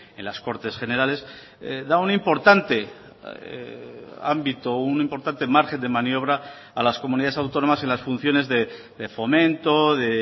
en las cortes generales da un importante ámbito un importante margen de maniobra a las comunidades autónomas en las funciones de fomento de